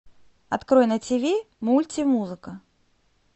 открой на ти ви мульти музыка